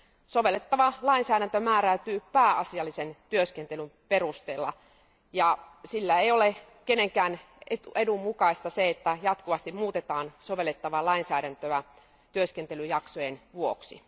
Sovellettava lainsäädäntö määräytyy pääasiallisen työskentelyn perusteella, sillä ei ole kenenkään edun mukaista, että muutetaan jatkuvasti sovellettavaa lainsäädäntöä työskentelyjaksojen vuoksi.